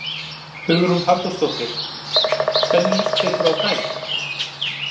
Hugrún Halldórsdóttir: Hvernig líst ykkur á daginn?